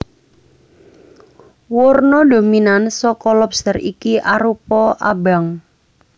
Warna dominan saka lobster iki arupa abang